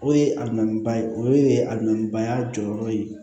O ye aminba ye o ye a lɔnni baya jɔyɔrɔ ye